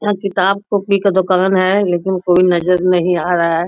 यहाँ किताब कॉपी का दुकान है लेकिन कोई नजर नहीं आ रहा है|